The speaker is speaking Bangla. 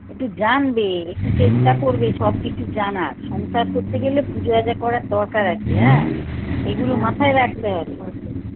একটু জানবে একটু চেষ্টা করবে সবকিছু জানার সংসার করতে গেলে পুজো আজা করার দরকার আছে হ্যাঁ এগুলো মাথায় রাখতে হবে